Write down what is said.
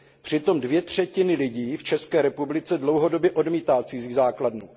Přitom dvě třetiny lidí v České republice dlouhodobě odmítají cizí základnu.